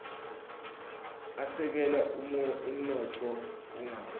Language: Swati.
asekela umnotfo ungawi